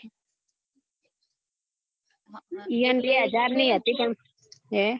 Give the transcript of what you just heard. ઈયો ને બે હજાર ની હતી પણ